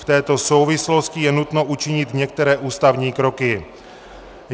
V této souvislosti je nutno učinit některé ústavní kroky.